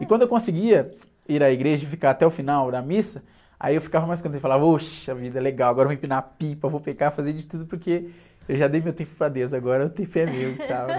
E quando eu conseguia ir à igreja e ficar até o final da missa, aí eu ficava mais contente, falava, ôxa vida, legal, agora eu vou empinar a pipa, vou pecar, fazer de tudo, porque eu já dei meu tempo para deus, agora o tempo é meu.